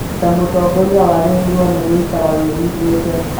Ta mũtongoria, wagĩrĩirwo nĩ gũikara wĩiguĩte